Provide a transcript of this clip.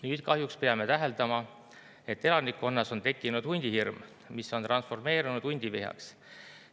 Nüüd kahjuks peame täheldama, et elanikkonnas on tekkinud hundihirm, mis on transformeerunud hundivihaks.